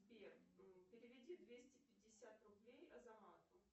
сбер переведи двести пятьдесят рублей азамату